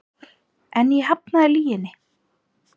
En ég hafnaði lyginni.